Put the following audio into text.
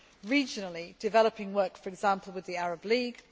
ICC regionally developing work, for example with the Arab League